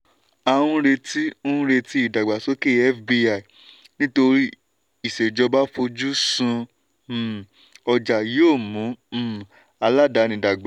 à ń retí ń retí ìdàgbàsókè fbi nítorí ìṣèjọba fojú sun um ọjà yóò mú um aládàáni dàgbà.